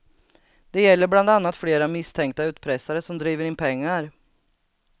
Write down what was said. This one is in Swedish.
Det gäller bland annat flera misstänkta utpressare som driver in pengar.